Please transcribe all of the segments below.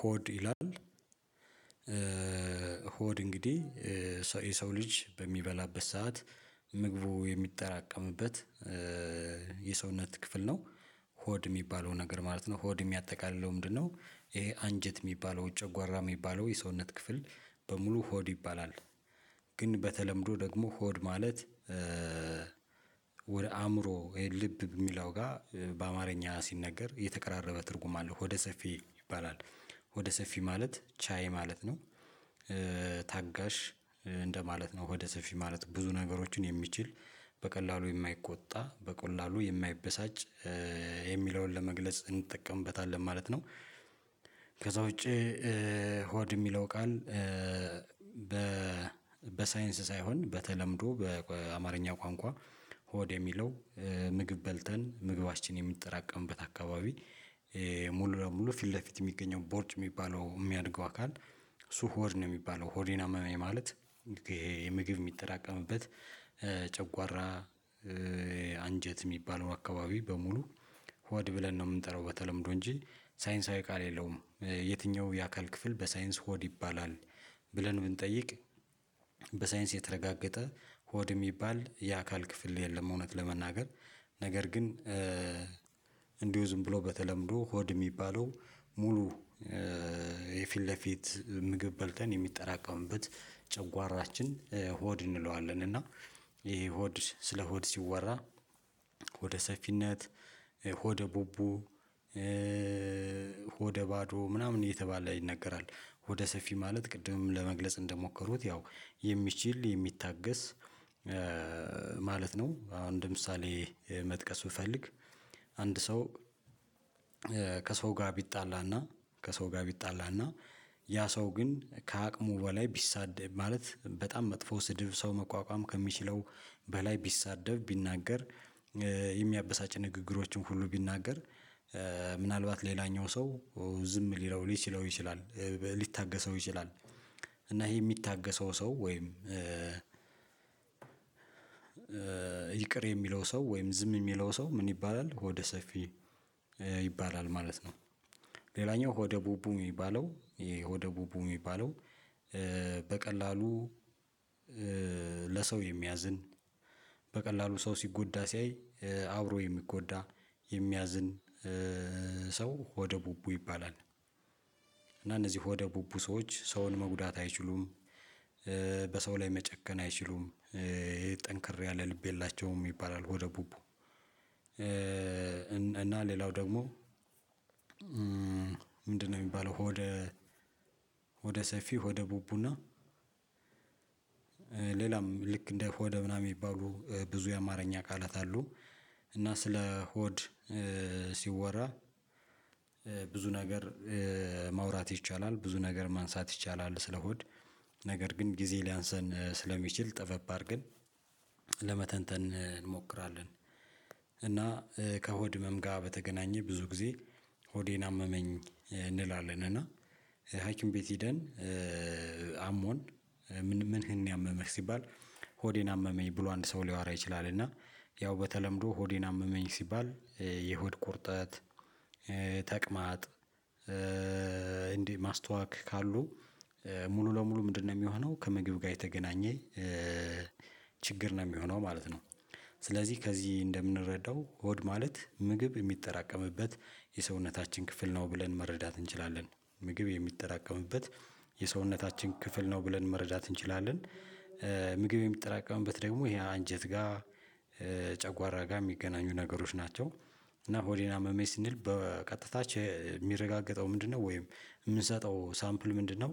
ሆድ ይላል ሆድ እንግዲህ የሰው ልጅ በሚበላበት ሰዓት ምግቡ የሚጠራቀምበት የሰውነት ክፍል ነው ሆድ የሚባለው ነገር ማለት ነው። ሆድ የሚያጠቃልለው ምንድነው? ይሄ አንጀት የሚባለው ጨጓራ የሚባለው የሰውነት ክፍል በሙሉ ሆድ ይባላል። ግን በተለምዶ ደግሞ ሆድ ማለት ወደ አእምሮ ወይ ልብ የሚለው ጋር በአማርኛ ሲነገር የተቀራረበ ትርጉም አለው ሆደ ሰፊ ይባላል ሆደ ሰፊ ማለት ቻይ ማለት ነው። ታጋሽ እንደማለት ነው ወደ ሰፊ ማለት ብዙ ነገሮችን የሚችል በቀላሉ የማይቆጣ በቀላሉ የማይበሳጭ የሚለውን ለመግለጽ እንጠቀምበታለን ማለት ነው። ከዛ ውጪ ሆድ የሚለው ቃል በ በሳይንስ ሳይሆን በተለምዶ በአማርኛ ቋንቋ። ሆድ የሚለው ምግብ በልተን ምግባችን የሚጠራቀምበት አካባቢ ሙሉ ለሙሉ ፊት ለፊት የሚገኘው ቦርጭ የሚባለው የሚያድገው አካል እሱ ሆድ ነው የሚባለው ሆዴን አመመኝ ማለት። ይሄ ምግብ የሚተራቀምበት ጨጓራ አንጀት የሚባለው አካባቢ በሙሉ ሆድ ብለን ነው የምንጠራው በተለምዶ እንጂ ሳይንሳዊ ቃል የለውም። የትኛው የአካል ክፍል በሳይንስ ሆድ ይባላል? ብለን ብንጠይቅ በሳይንስ የተረጋገጠ ሆድ የሚባል የአካል ክፍል የለም። እውነት ለመናገር ነገር ግን። እንዲሁ ዝም ብሎ በተለምዶ ሆድ የሚባለው ሙሉ የፊት ለፊት ምግብ በልተን የሚጠራቀምበት ጨጓራችን ሆድ እንለዋለን። እና ይሄ ሆድ ስለ ሆድ ሲወራ ሆደ ሰፊነት ሆደ ቡቡ ሆደ ባዶ ምናምን እየተባለ ይነገራል። ሆደ ሰፊ ማለት ቅድም ለመግለጽ እንደሞከሩት ያው የሚችል የሚታገስ ማለት ነው። አሁን እንደ ምሳሌ መጥቀስ ብፈልግ አንድ ሰው ከሰው ጋር ቢጣላና ከሰው ጋር ቢጣላና ያ ሰው ግን ከአቅሙ በላይ ቢሳደብ ማለት በጣም መጥፎ ስድብ ሰው መቋቋም ከሚችለው በላይ ቢሳደብ ቢናገር የሚያበሳጭ ንግግሮችን ሁሉ ቢናገር ምናልባት ሌላኛው ሰው ዝም ሊለው ሊችለው ይችላል ሊታገሰው ይችላል። እና ይሄ የሚታገሰው ሰው ወይም ይቅር የሚለው ሰው ወይም ዝም የሚለው ሰው ምን ይባላል ሆደ ሰፊ ይባላል ማለት ነው። ሌላኛው ሆደ ቡቡ የሚባለው የሆደ ቡቡ የሚባለው በቀላሉ ለሰው የሚያዝን በቀላሉ ሰው ሲጎዳ ሲያይ አብሮ የሚጎዳ የሚያዝን ሰው ሆደ ቡቡ ይባላል። እና እነዚህ ሆደ ቡቡ ሰዎች ሰውን መጉዳት አይችሉም። በሰው ላይ መጨከን አይችሉም ጠንክር ያለ ልብ የላቸውም ይባላል ሆደ ቡቡ። እና ሌላው ደግሞ ምንድነው? የሚባለው ሆደ ሆደ ሰፊ ሆደ ቡቡና ሌላም ልክ እንደ ሆደ ምናምን የሚባሉ ብዙ የአማርኛ ቃላት አሉ። እና ስለ ሆድ ሲወራ ብዙ ነገር ማውራት ይቻላል ብዙ ነገር ማንሳት ይቻላል ስለ ሆድ ነገር ግን ጊዜ ሊያንስን ስለሚችል ጠበብ አድርገን ለመተንተን። እና ከሆድ ህመም ጋር በተገናኘ ብዙ ጊዜ ሆዴን አመመኝ እንላለን እና ሀኪም ቤት ሄደን አሞን ምን ምን ያመመህ ሲባል ሆዴን አመመኝ ብሎ አንድ ሰው ሊያወራ ይችላል። እና ያው በተለምዶ ሆዴን አመመኝ ሲባል የሆድ ቁርጠት ተቅማጥ እንዲህ ማስታወክ ካሉ ሙሉ ለሙሉ ምንድነው የሚሆነው ከምግብ ጋር የተገናኘ ችግር ነው የሚሆነው ማለት ነው። ስለዚህ ከዚህ እንደምንረዳው ሆድ ማለት ምግብ የሚጠራቀምበት የሰውነታችን ክፍል ነው ብለን መረዳት እንችላለን። ምግብ የሚጠራቀምበት የሰውነታችን ክፍል ነው ብለን መረዳት እንችላለን። ምግብ የሚጠራቀምበት ደግሞ ይሄ አንጀት ጋር ጨጓራ ጋር የሚገናኙ ነገሮች ናቸው። እና ሆዴን አመመኝ ስንል በቀጥታ የሚረጋገጠው ምንድነው ወይም የምንሰጠው ሳምፕል ምንድነው?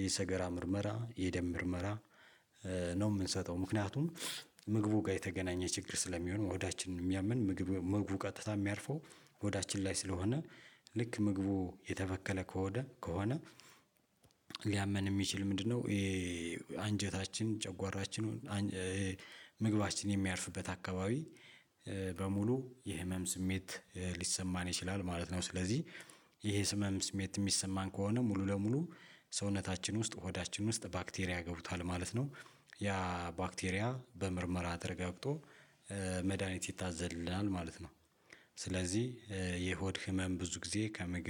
የሰገራ ምርመራ የደም ምርመራ። ነው የምንሰጠው ምክንያቱም ምግቡ ጋር የተገናኘ ችግር ስለሚሆን ሆዳችንን የሚያምን ምግቡ ምግቡ ቀጥታ የሚያርፈው ሆዳችን ላይ ስለሆነ ልክ ምግቡ የተበከለ ከሆነ ከሆነ ሊያመን የሚችል ምንድነው? አንጀታችን ጨጓራችን ምግባችን የሚያርፍበት አካባቢ በሙሉ የህመም ስሜት ሊሰማን ይችላል ማለት ነው። ስለዚህ ይሄ ህበም ስሜት የሚሰማን ከሆነ ሙሉ ለሙሉ ሰውነታችን ውስጥ ሆዳችን ውስጥ ባክቴሪያ ገብቷል ማለት ነው። ያ ባክቴሪያ በምርመራ ተረጋግጦ መድሃኒት ይታዘዝልናል ማለት ነው። ስለዚህ የሆድ ህመም ብዙ ጊዜ ከምግብ